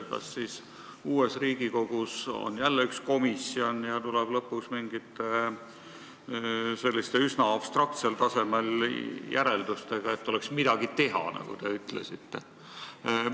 Kas siis uues Riigikogus on jälle üks komisjon ja tuleb lõpuks mingite üsna abstraktsel tasemel järeldustega, selleks et oleks midagi teha, nagu te ütlesite?